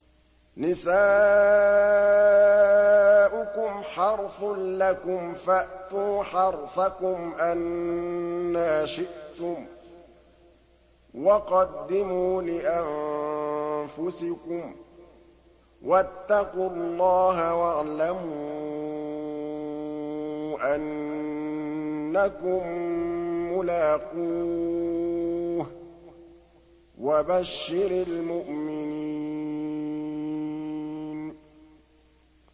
نِسَاؤُكُمْ حَرْثٌ لَّكُمْ فَأْتُوا حَرْثَكُمْ أَنَّىٰ شِئْتُمْ ۖ وَقَدِّمُوا لِأَنفُسِكُمْ ۚ وَاتَّقُوا اللَّهَ وَاعْلَمُوا أَنَّكُم مُّلَاقُوهُ ۗ وَبَشِّرِ الْمُؤْمِنِينَ